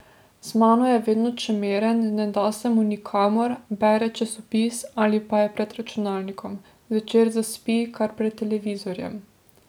Z mano je vedno čemeren, ne da se mu nikamor, bere časopis ali pa je pred računalnikom, zvečer zaspi kar pred televizorjem.